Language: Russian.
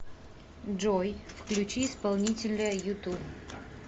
джой включи исполнителя юту